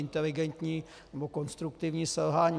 Inteligentní nebo konstruktivní selhání.